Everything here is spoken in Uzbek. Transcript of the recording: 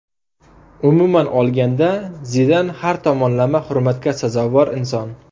Umuman olganda, Zidan har tomonlama hurmatga sazovor inson.